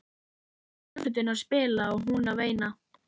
Svo fór hljómsveitin að spila og hún að veina.